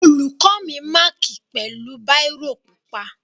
Olùkó mi mákì pẹ̀lú báírò pupa.